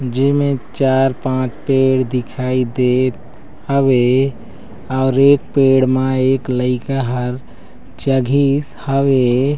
जेमे चार पांच पेड़ दिखाई देत हवे और एक पेड़ म एक लइका हर चघिस हवे।